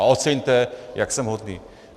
A oceňte, jak jsem hodný.